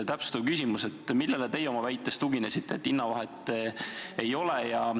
Täpsustav küsimus: millele teie tuginesite oma väites, et hinnavahet ei ole?